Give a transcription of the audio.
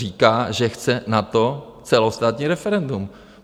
Říká, že chce na to celostátní referendum.